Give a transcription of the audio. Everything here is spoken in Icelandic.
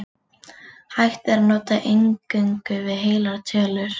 Hægt yrði að notast eingöngu við heilar tölur.